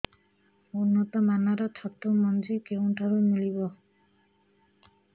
ଉନ୍ନତ ମାନର ଛତୁ ମଞ୍ଜି କେଉଁ ଠାରୁ ମିଳିବ